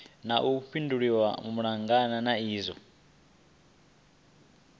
na vhuḓifhinduleli malugana na izwi